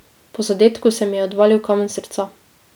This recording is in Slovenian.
Po zadetku se mi je odvalil kamen s srca.